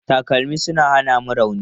Takalmi suna hana mu rauni.